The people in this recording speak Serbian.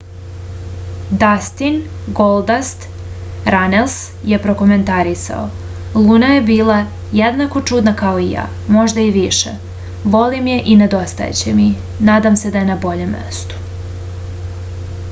дастин голдаст ранелс је прокоментарисао: луна је била једнако чудна као и ја...можда и више...волим је и недостајће ми...надам се да је на бољем месту.